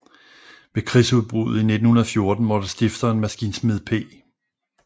Ved krigsudbruddet i 1914 måtte stifteren maskinsmed P